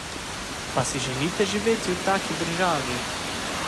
Pa si želite živeti v taki državi?